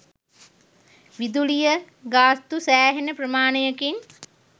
විදුලිය ගාස්තු සෑහෙන ප්‍රමාණයකින්